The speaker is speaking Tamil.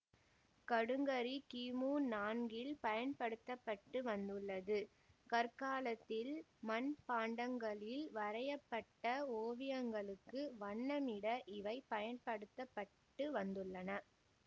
கடுங்கரி கிமு நான்கில் பயன்படுத்த பட்டு வந்துள்ளது கற்காலத்தில் மண்பாண்டங்களில் வரைய பட்ட ஓவியங்களுக்கு வண்ணமிட இவை பயன்படுத்த பட்டு வந்துள்ளன